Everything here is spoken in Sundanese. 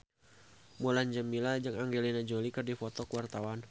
Mulan Jameela jeung Angelina Jolie keur dipoto ku wartawan